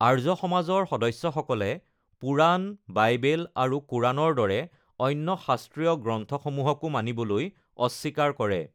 আৰ্য সমাজৰ সদস্যসকলে পুৰাণ, বাইবেল আৰু কোৰাণৰ দৰে অন্য শাস্ত্ৰীয় গ্ৰন্থসমূহকো মানিবলৈ অস্বীকাৰ কৰে।